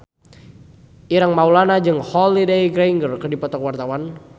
Ireng Maulana jeung Holliday Grainger keur dipoto ku wartawan